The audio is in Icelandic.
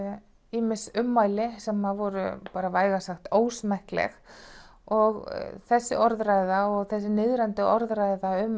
ýmis ummæli sem voru bara vægast sagt ósmekkleg og þessi orðræða og þessi niðrandi orðræða um